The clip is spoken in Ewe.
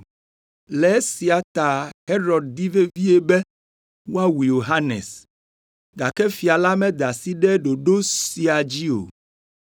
Le esia ta Herod di vevie be woawu Yohanes, gake fia la meda asi ɖe ɖoɖo sia dzi o,